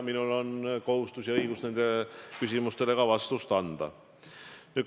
Minul on kohustus ja õigus nende küsimustele vastuseid anda.